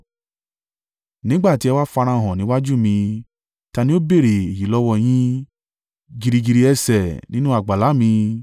Nígbà tí ẹ wá farahàn níwájú mi, ta ni ó béèrè èyí lọ́wọ́ yín, gìrì gìrì ẹsẹ̀ nínú àgbàlá mi?